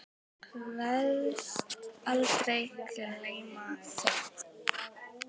Kveðst aldrei gleyma þeim.